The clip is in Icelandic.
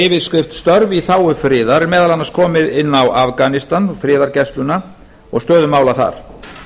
yfirskrift störf í þágu friðar er meðal annars komið inn á afganistan friðargæsluna og stöðu mála þar